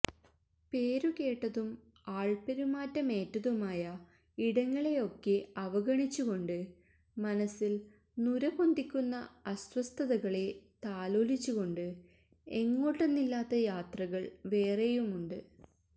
പേരു കേട്ടതും ആള്പ്പെരുമാറ്റമേറ്റതുമായ ഇടങ്ങളെയൊക്കെ അവഗണിച്ചു കൊണ്ട് മനസ്സില് നുരപൊന്തിക്കുന്ന അസ്വസ്ഥതകളെ താലോലിച്ചുകൊണ്ട് എങ്ങോട്ടെന്നില്ലാത്ത യാത്രകള് വേറെയുമുണ്ട്